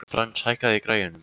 Frans, hækkaðu í græjunum.